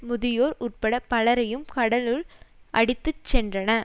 முதியோர் உட்பட பலரையும் கடலுள் அடித்து சென்றன